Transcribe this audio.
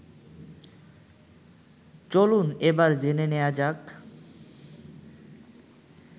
চলুন এবার জেনে নেয়া যাক